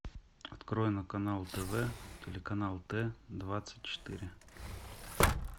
открой на канал тв телеканал т двадцать четыре